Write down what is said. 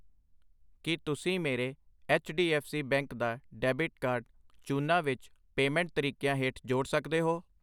ਕਿ ਤੁਸੀਂਂ ਮੇਰੇ H D F C bank ਦਾ ਡੈਬਿਟ ਕਾਰਡ ਚੂਨਾ ਵਿੱਚ ਪੇਮੈਂਟ ਤਰੀਕਿਆਂ ਹੇਠ ਜੋੜ ਸਕਦੇ ਹੋ ?